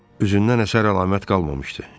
Üzündən əsər-əlamət qalmamışdı.